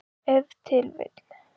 Ef til vill.